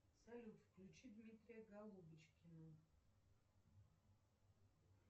салют включи дмитрия голубочкина